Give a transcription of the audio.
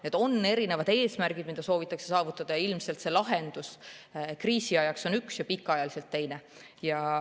Need on erinevad eesmärgid, mida soovitakse saavutada, ja ilmselt lahendus kriisi ajaks on üks ja pikaajaliselt teine.